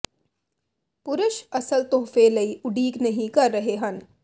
ਪੁਰਸ਼ ਅਸਲ ਤੋਹਫ਼ੇ ਲਈ ਉਡੀਕ ਨਹੀ ਕਰ ਰਹੇ ਹਨ